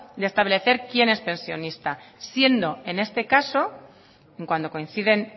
de establecer quién es pensionista siendo en este caso cuando coinciden